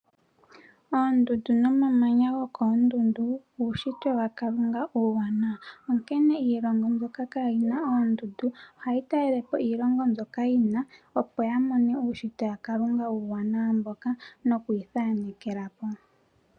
Oondundu nomamanya uushitwe waKalunga uuwanawa, onkene iilongo ndjoka kaayina oondundu ohayi talelepo iilongo ndjoka yina oondundu opo yamone uushitwe waKalunga uuwanawa nokwiithanekelapo.